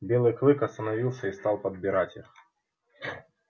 белый клык остановился и стал подбирать их